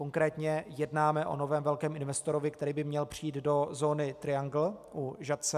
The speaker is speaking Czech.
Konkrétně jednáme o novém velkém investorovi, který by měl přijít do zóny Triangle u Žatce.